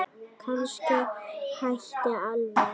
Kannski hætta alveg.